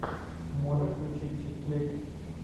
можешь включить чикфлик